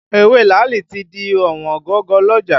Ewé làálì tí di ọ̀wọ́n gogo lọ́jà